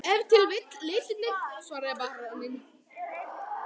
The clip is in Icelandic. Ef til vill litirnir, svaraði baróninn.